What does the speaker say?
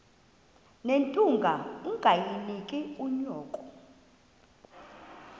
nethunga ungalinik unyoko